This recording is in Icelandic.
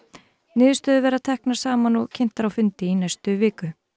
niðurstöður verða teknar saman og kynntar á fundi í næstu viku